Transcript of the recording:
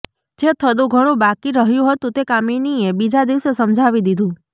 જે થોડું ઘણું બાકી રહ્યું હતું તે કામિનીએ બીજા દિવસે સમજાવી દીધું